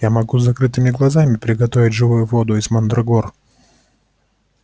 я могу с закрытыми глазами приготовить живую воду из мандрагор